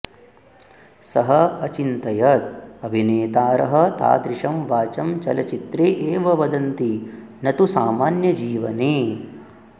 सः अचिन्तयत् अभिनेतारः तादृशं वाचं चलचित्रे एव वदन्ति न तु सामान्य जीवने